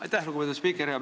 Aitäh, lugupeetud spiiker!